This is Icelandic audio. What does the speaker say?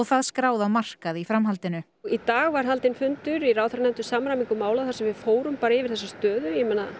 það skráð á markað í framhaldinu í dag var haldinn fundur í ráðherranefnd um samræmingu mála þar sem við fórum yfir þessa stöðu